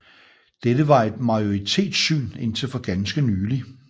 Dette var et majoritetssyn indtil for ganske nylig